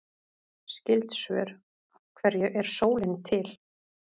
Skyld svör: Af hverju er sólin til?